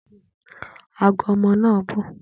Ago omo na bu